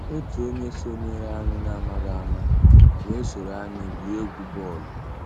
Ótú ónyé sonyééré ànyị́ n'àmàghị́ àmá weé sòró ànyị́ gwúó égwu bọ́ọ̀lụ́.